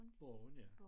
Borgen ja